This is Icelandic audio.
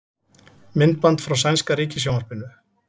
Myndband frá sænska ríkissjónvarpinu